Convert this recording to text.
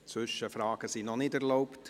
Zwischenfragen sind noch nicht erlaubt.